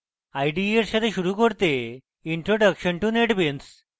ide এর সাথে শুরু করতে introduction to netbeans